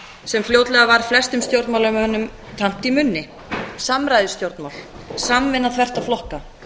sem fljótlega varð flestum stjórnmálamönnum tamt í munni samræðustjórnmál samvinna þvert á flokka